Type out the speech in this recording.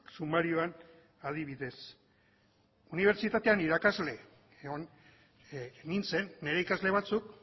sumarioan adibidez unibertsitatean irakasle egon nintzen nire ikasle batzuk